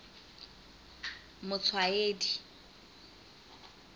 motshwaedi